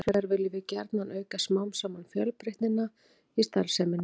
Hins vegar viljum við gjarnan auka smám saman fjölbreytnina í starfseminni.